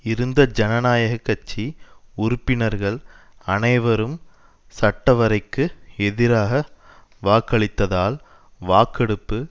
இருந்த ஜனநாயக கட்சி உறுப்பினர்கள் அனைவரும் சட்டவரைக்கு எதிராக வாக்களித்ததால் வாக்கெடுப்பு